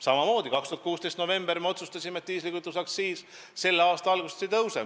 2016. aasta novembris me otsustasime, et diislikütuse aktsiis selle aasta algusest ei tõuse.